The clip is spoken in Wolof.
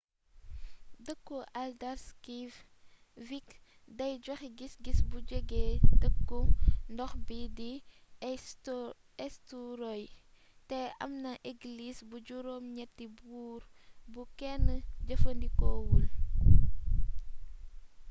deekku haldarsvík day joxé gisgis bu jégé deeku ndox bi di eysturoy té amna églis bu jurom gnetti boor bu kénn jeefeendikowul